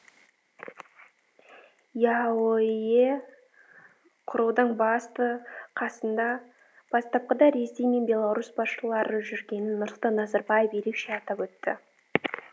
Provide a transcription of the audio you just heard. еаэо құрудың басты қасында бастапқыда ресей мен беларусь басшылары жүргенін нұрсұлтан назарбаев ерекше атап өтті